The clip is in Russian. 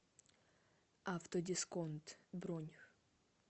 автодисконт бронь